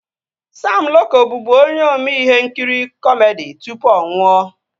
Sam Loko bụbu onye ome ihe nkiri kọmedi tụpụ ọ nwụọ